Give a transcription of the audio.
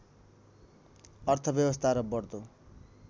अर्थव्यवस्था र बढ्दो